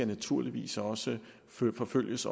naturligvis også skal forfølges